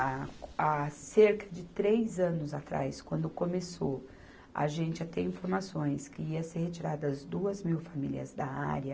Há, há cerca de três anos atrás, quando começou a gente a ter informações que ia ser retirada as duas mil famílias da área,